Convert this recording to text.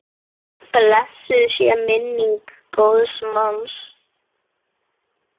Blessuð sé minning góðs manns.